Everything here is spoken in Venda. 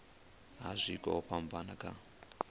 ha zwiko zwo fhambanaho kha